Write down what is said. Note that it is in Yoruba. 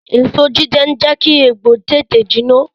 Èso jíjẹ n jẹ́ kí egbò tètè jiná